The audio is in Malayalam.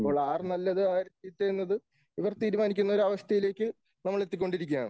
അപ്പോൾ ആര് നല്ലത് ആര് ചീത്ത എന്നത് ഇവർ തീരുമാനിക്കുന്ന അവസ്ഥയിലേക്ക് നമ്മൾ എത്തിക്കൊണ്ടിരിക്കുകയാണ്